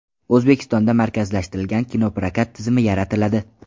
O‘zbekistonda markazlashtirilgan kinoprokat tizimi yaratiladi.